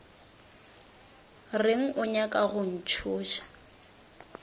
reng o nyaka go ntšhoša